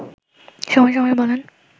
সময় সময় বলেন